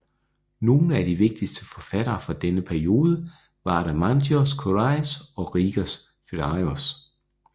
Nogle af de vigtigste forfattere fra denne periode var Adamantios Korais og Rigas Feraios